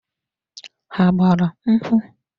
Ha gbara akwụkwọ?